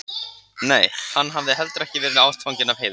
Nei, hann hafði ekki heldur verið ástfanginn af Heiðu.